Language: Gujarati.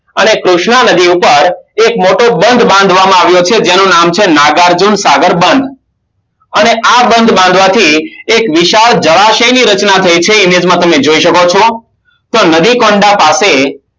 અને કૃષ્ણ નગરી ઉપર એક મોટો બંધ બાંધવામાં આવ્યો છે જેનું નામ છે નાગાર્જુન સાગર બંધ અને આ બંધ બાંધવાથી એક વિશાળ જળાશયની રચના થાય છે એ વિગતમાં તમે જોય શકો છો તો નદી કોન્ડા સાથે